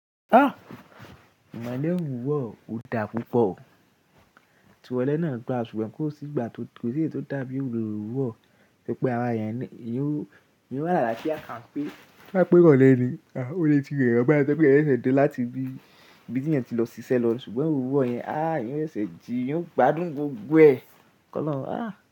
À! Ìmọ̀lẹ̀ òruwọ̀ ò dà púpọ̀. Ti irọlé náà dà ṣùgbọ́n kó sì igba tòsí tó dà bí òruwọ̀ pé ara ẹ̀eyan yóò yóò eeyàn o wá alafià kanpé, bá pẹ́ irolẹ́ ni, ò le ti re eẹ̀yan báyi tó je pé eeyan sẹ ṣe de láti ibi tí eeyan ti lọ ṣiṣẹ́ lọ ṣùgbọ́n òwurọ̀ yẹn a eeyan o ṣese jí eeyan ò gbádùn gbogbo ẹ. Ki ọ́lọ̀run. À!